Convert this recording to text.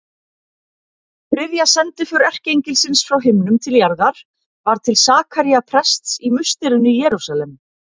Þriðja sendiför erkiengilsins frá himnum til jarðar var til Sakaría prests í musterinu í Jerúsalem.